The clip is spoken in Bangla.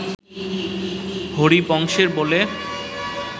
হরিবংশে বলে